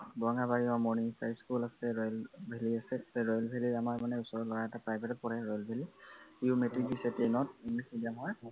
বৰঙাবাৰীত আহ morning এটা school আছে ৰয়েল ভেলী হেৰি আছে, তাতে ৰয়েল ভেলীত আমাৰমানে ওচৰৰ লৰা এটা private ত পঢ়ে ৰয়েল ভেলী l সিও মেট্ৰিক দিছে ten ত english medium ত